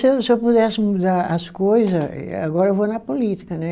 Se eu se eu pudesse mudar as coisa, e agora eu vou na política, né?